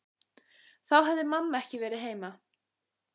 Þá hefði mamma ekki verið heima.